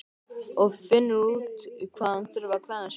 Og finnur út hvað hann þurfi að glenna sig mikið.